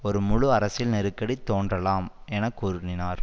ஒரு முழு அரசியல் நெருக்கடி தோன்றலாம்எனக்கூறினார்